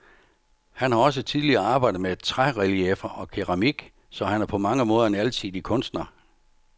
Han har også tidligere arbejdet med trærelieffer og keramik, så han er på mange måder en alsidig kunstner.